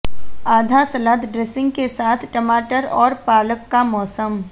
आधा सलाद ड्रेसिंग के साथ टमाटर और पालक का मौसम